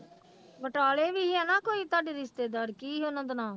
ਬਟਾਲੇ ਵੀ ਸੀ ਹਨਾ ਕੋਈ ਤੁਹਾਡੀ ਰਿਸ਼ਤੇੇਦਾਰ, ਕੀ ਉਹਨਾਂ ਦਾ ਨਾਂ?